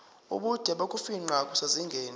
ubude bokufingqa kusezingeni